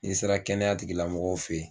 N'i sera kɛnɛya tigi lamɔgɔw fɛ ye